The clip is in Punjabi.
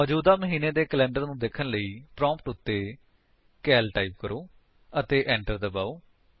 ਮੌਜੂਦਾ ਮਹੀਨੇ ਦੇ ਕੈਲੰਡਰ ਨੂੰ ਦੇਖਣ ਲਈ ਪ੍ਰੋਂਪਟ ਉੱਤੇ ਕਾਲ ਟਾਈਪ ਕਰੋ ਅਤੇ enter ਦਬਾਓ